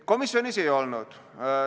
Komisjonis seda ei olnud.